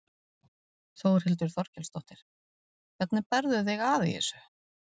Þórhildur Þorkelsdóttir: Hvernig berð þú þig að í þessu?